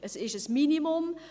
Es ist ein Minimum.